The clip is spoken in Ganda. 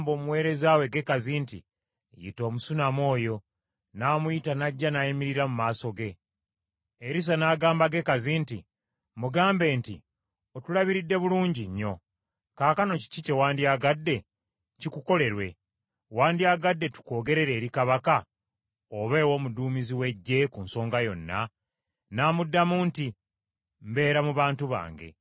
Erisa n’agamba Gekazi nti, “Mugambe nti, ‘Otulabiridde bulungi nnyo. Kaakano kiki kyewandyagadde kikukolerwe? Wandyagadde tukwogerere eri Kabaka oba ew’omuduumizi w’eggye ku nsonga yonna?’ ” N’amuddamu nti, “Mbeera mu bantu bange.”